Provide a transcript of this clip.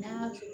N'an y'a kɛ